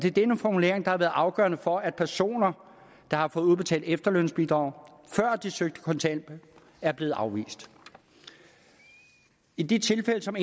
er den formulering der har været afgørende for at personer der har fået udbetalt efterlønsbidrag før de søgte kontanthjælp er blevet afvist i de tilfælde som